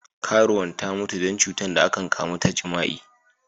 Karuwan ta mutu dan cutan da akan kamu ta jima'i.